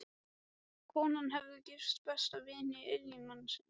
Konan hafði gifst besta vini eiginmannsins.